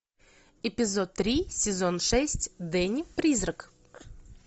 эпизод три сезон шесть дэнни призрак